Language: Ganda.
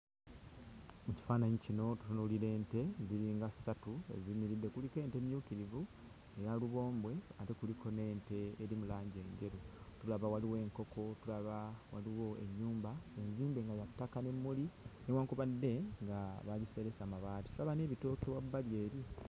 Mu kifaananyi kino tutunuulira ente ziringa ssatu eziyimiridde, nga kuliko ente emmyukirivu, eya lubombwe, ate kuliko n'ente eri mu langi enjeru. Tulaba waliwo enkoko, tulaba waliwo ennyumba enzimbe nga ya ttaka, n'emmuli newankubadde nga baagiseresa mabaati, tulaba n'ebitooke wabbali eri.